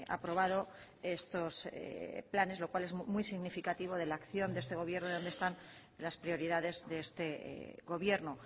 aprobado estos planes lo cual es muy significativo de la acción de este gobierno y dónde están las prioridades de este gobierno